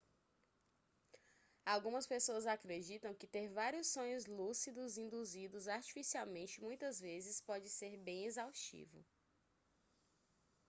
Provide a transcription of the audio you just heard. algumas pessoas acreditam que ter vários sonhos lúcidos induzidos artificialmente muitas vezes pode ser bem exaustivo